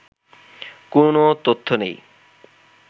কোন তথ্য নেই